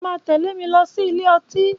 Ṣó mà tẹ̀lé mi lọ sí ìlé ì?